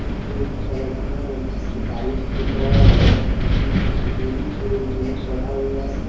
पीछे एक सड़क में कुछ बाइक्स दिख रहा है जिसमें एक लेडीज और एक जेंस चढ़ा हुआ है।